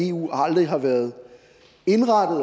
eu aldrig har været indrettet